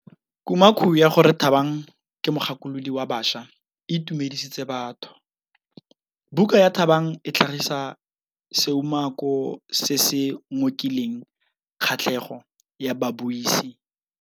Kumakô ya gore Thabang ke mogakolodi wa baša e itumedisitse batho. Buka ya Thabang e tlhagitse seumakô se se ngokileng kgatlhegô ya babuisi.